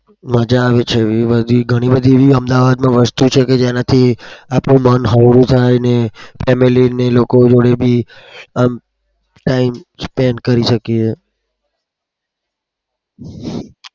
મજા આવે છે. ઘણી બધી એવી બધી અમદાવાદમાં વસ્તુઓ છે કે જેનાથી આપનું મન હળવું થાય અને family ના લોકો જોડે બી time spand કરી શકીએ.